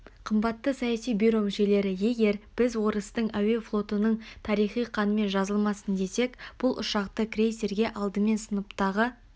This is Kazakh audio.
қымбатты саяси бюро мүшелері егер біз орыстың әуе флотының тарихы қанмен жазылмасын десек бұл ұшақты крейсерге алдымен сыныптағы